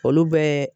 Olu bɛɛ